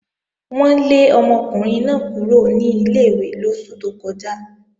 Wọ́n lé ọmọkùnrin náà kúrò ní ilé-ìwé lóṣù tó kọjá